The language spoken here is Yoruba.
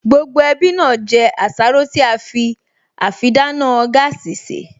Gbogbo ẹbí náà jẹ àsáró tí á fi àfidáná gáàsì sè